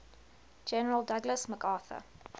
general douglas macarthur